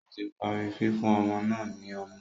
Ó tí parí fífún ọmọ náà ní ọmú